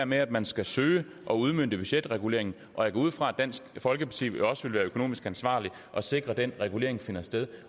med at man skal søge at udmønte budgetreguleringen og jeg går ud fra at dansk folkeparti også vil være økonomisk ansvarlige og sikre at den regulering finder sted